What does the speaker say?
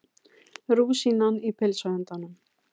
Rúsínan í pylsuendanum